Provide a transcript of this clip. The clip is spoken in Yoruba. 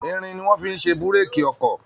Irin ni wọ́n fi ṣe Búrèkì ọkọ̀